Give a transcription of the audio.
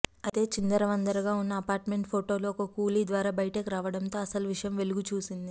అయితే చిందరవందరగా ఉన్న అపార్ట్మెంటు ఫోటోలు ఓ కూలీద్వారా బయటికి రావడంతో అసలు విషయం వెలుగుచూసింది